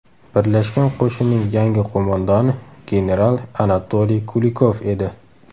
Birlashgan qo‘shinning yangi qo‘mondoni general Anatoliy Kulikov edi.